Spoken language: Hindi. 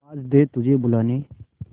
आवाज दे तुझे बुलाने